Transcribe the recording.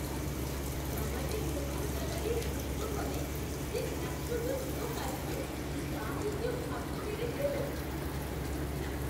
আমাদের নতুন গ্যালারির উদ্বোধনে যে একশো জন লোক আসবে তা কি কেউ ভাবতে পেরেছিল?